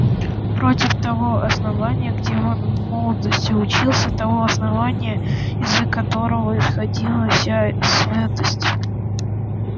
против того основания где он в молодости учился того основания из-за которого исходила вся святость